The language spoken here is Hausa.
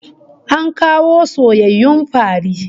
An kawo soyayyun fari